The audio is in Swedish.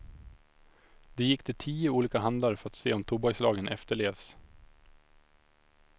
De gick till tio olika handlare för att se om tobakslagen efterlevs.